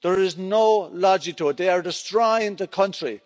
There is no logic to it. They are destroying the country.